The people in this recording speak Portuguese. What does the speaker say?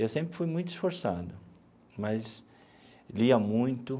Eu sempre fui muito esforçado, mas lia muito.